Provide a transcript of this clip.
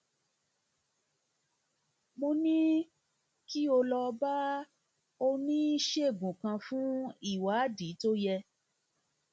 mo ní kí o lọ bá oníṣègùnòṣègùn kan fún ìwádìí tó yẹ